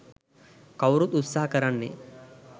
කවුරුත් උත්සහ කරන්නේ